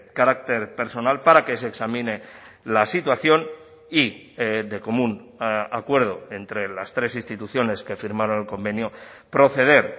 carácter personal para que se examine la situación y de común acuerdo entre las tres instituciones que firmaron el convenio proceder